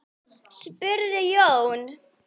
spurði Jón.